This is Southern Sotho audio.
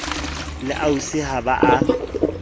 le ausi ha ba a